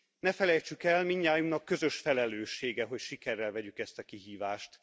Ne felejtsük el, mindnyájunknak közös felelőssége, hogy sikerrel vegyük ezt a kihívást.